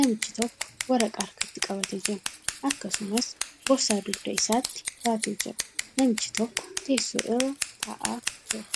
Namichi tokko waraqaa harkatti qabatee jira. Akkasumas, boorsaa dugda isaatti baatee jira. Namichi tokko teessoo irra taa'aa jira.